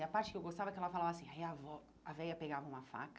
E a parte que eu gostava é que ela falava assim, aí avó a véia pegava uma faca,